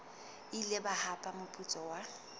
ile ba hapa moputso wa